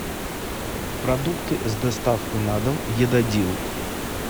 продукты с доставкой на дом едадил